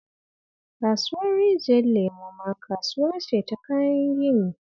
Kasuwar Rijiyar Lemo ma kasuwa ce ta kayan gini